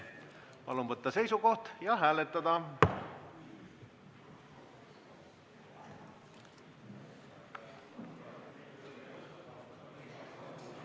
Palun võtta seisukoht ja hääletada!